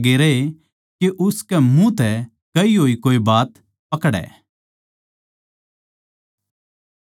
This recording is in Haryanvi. अर ताक म्ह लाग्गे रहे के उसकै मुँह की कोये बात पकड़ै